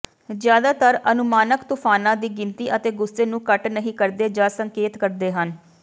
ਜ਼ਿਆਦਾਤਰ ਅਨੁਮਾਨਕ ਤੂਫਾਨਾਂ ਦੀ ਗਿਣਤੀ ਅਤੇ ਗੁੱਸੇ ਨੂੰ ਘੱਟ ਨਹੀਂ ਕਰਦੇ ਜਾਂ ਸੰਕੇਤ ਕਰਦੇ ਹਨ